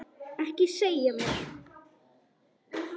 Ekki segja mér,